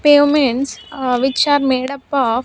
Pavements which are made up of --